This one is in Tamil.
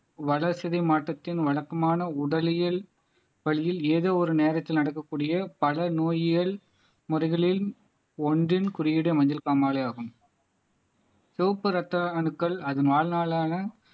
வட சிதை மாற்றத்தின் வழக்கமான உடலியல் வழியில் ஏதோ ஒரு நேரத்தில் நடக்கக்கூடிய பல நோயியல் முறைகளில் ஒன்றின் குறியீடு மஞ்சள் காமாலை ஆகும் செவப்பு ரத்த அணுக்கள் அதன் வாழ்நாளான